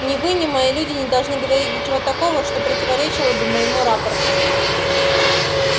ни вы ни мои люди не должны говорить ничего такого что противоречило бы моему рапорту